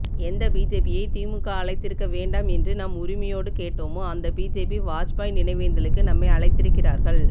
எந்த பிஜேபியை திமுக அழைத்திருக்க வேண்டாம் என்று நாம் உரிமையோடு கேட்டோமோ அந்த பிஜேபி வாஜ்பாய் நினைவேந்தலுக்கு நம்மை அழைத்திருக்கிறார்கள்